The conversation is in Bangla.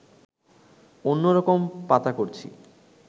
অন্য রকম পাতা করছি